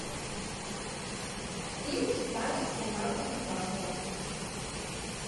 фильм титаник с леонардо ди каприо